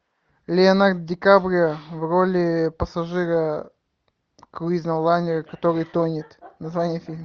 леонардо дикаприо в роли пассажира круизного лайнера который тонет название фильма